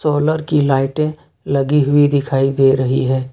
Solar की लाइटे लगी हुई दिखाई दे रही है।